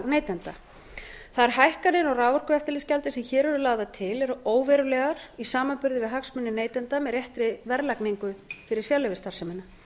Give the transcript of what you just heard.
neytenda þær hækkanir á raforkueftirlitsgjaldi sem hér eru lagðar til eru óverulegar í samanburði við hagsmuni neytenda með réttri verðlagningu fyrir sérleyfisstarfsemina